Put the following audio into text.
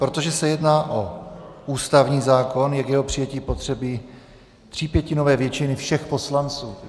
Protože se jedná o ústavní zákon, je k jeho přijetí zapotřebí třípětinové většiny všech poslanců.